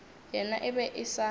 yena e be e sa